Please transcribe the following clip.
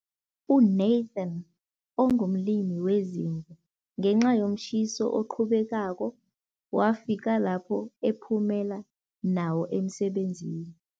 UNathan ongumlimi wezimvu, ngenca yomtjhiso oqhubekako wafika lapho ephumela nawo emsebenzini.